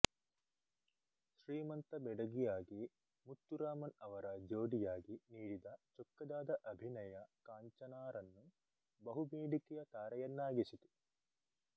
ಶ್ರೀಮಂತ ಬೆಡಗಿಯಾಗಿ ಮುತ್ತುರಾಮನ್ ಅವರ ಜೋಡಿಯಾಗಿ ನೀಡಿದ ಚೊಕ್ಕದಾದ ಅಭಿನಯ ಕಾಂಚನಾರನ್ನು ಬಹುಬೇಡಿಕೆಯ ತಾರೆಯನ್ನಾಗಿಸಿತು